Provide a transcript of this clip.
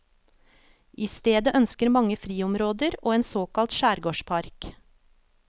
I stedet ønsker mange friområder og en såkalt skjærgårdspark.